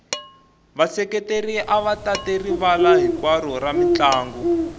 vaseketeri ava tate rivala hinkwaro ra mintlangu